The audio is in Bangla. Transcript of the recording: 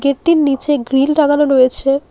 গেট -টির নীচে গ্রীল লাগানো রয়েছে।